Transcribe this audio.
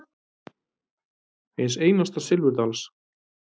Eins einasta silfurdals.